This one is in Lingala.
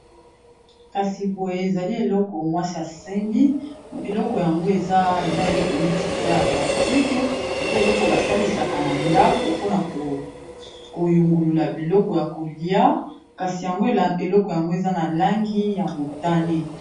Kasi boye ezali eloko mwasi ya sembi eloko yango eza eloko neti eza ya plastiqe eza eloko basalisaka na ndako pona koyungulula biloko ya kolia kasi yango eloko yango eza na langi ya motane.